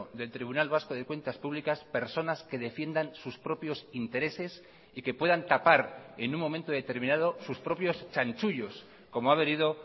del tribunal vasco de cuentas públicas personas que defiendan sus propios intereses y que puedan tapar en un momento determinado sus propios chanchullos como ha venido